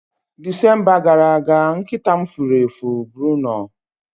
Disemba gara aga, nkịta m furu efu Bruno